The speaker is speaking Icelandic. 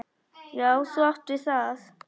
Já, þú átt við það!